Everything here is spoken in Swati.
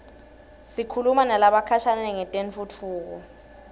sikhuluma nalabakhashane ngetentfutfuko